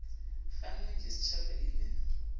kgannwang ke stjhaba e le